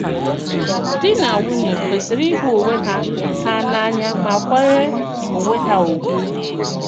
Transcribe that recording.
Dì nà nwùnỳè kwesìrì íhù onwe hà hà n’ànỳà mà kwànyèrè onwe hà ùgwù.